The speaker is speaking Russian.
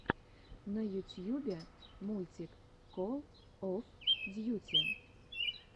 на ютьюбе мультик кол оф дьюти